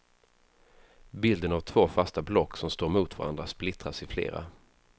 Bilden av två fasta block som står mot varandra splittras i flera.